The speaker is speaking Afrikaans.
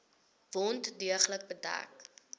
wond deeglik bedek